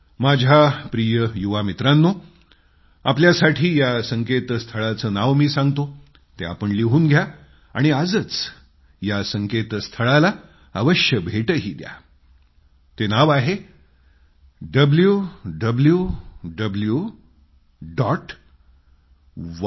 माझ्या प्रिय युवा मित्रांनो आपल्यासाठी मी सांगतो की या संकेतस्थळाचं नाव तुम्ही लिहून घ्या आणि आजच जरूर या संकेतस्थळाला भेटही द्या www